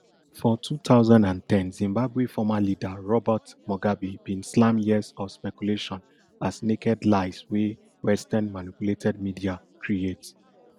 for two thousand and ten zimbabwe former leader robert mugabe bin slam years of speculation as naked lies wey westernmanipulated media create